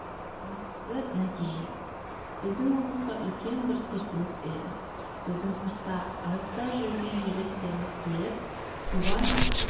бастысы нәтиже біздің облысқа үлкен бір серпіліс берді біздің сыртта алыста жүркен жерлестеріміз келіп туған